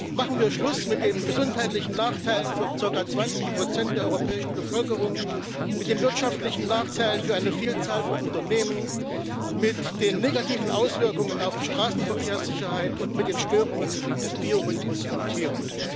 Machen wir Schluss mit den gesundheitlichen Nachteilen für zirka zwanzig Prozent der europäischen Bevölkerung, mit den wirtschaftlichen Nachteilen für eine Vielzahl von Unternehmen, mit den negativen Auswirkungen auf die Straßenverkehrssicherheit und mit den Störungen des Biorhythmus von Tieren!